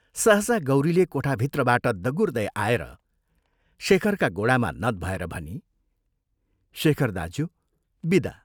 सहसा गौरीले कोठाभित्रबाट दगुर्दे आएर शेखरका गोडामा नत भएर भनी, "शेखर दाज्यू विदा।